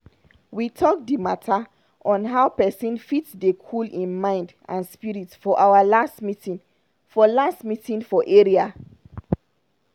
we talk d mata on how pesin fit dey cool hin mind and spirit for our last meeting for last meeting for area.